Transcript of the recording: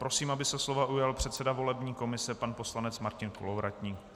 Prosím, aby se slova ujal předseda volební komise pan poslanec Martin Kolovratník.